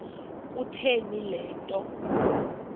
kutheni le nto